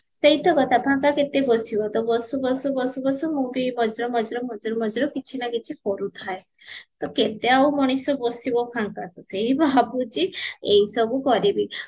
ସେଇ ତ କଥା ଫାଙ୍କ କେତେ ବସିବ ବସୁ ବସୁ ବସୁ ବସୁ ମୁଁ ବି ମଝିରେ ମଝିରେ ମଝିରେ ମଝିରେ କିଛି ନା କିଛି କରୁଥାଏ ତ କେତେ ଆଉ ମଣିଷ ବସିବ ଫାଙ୍କରେ ମୁଁ ଭାବୁଚି ଏଇ ସବୁ କରିବି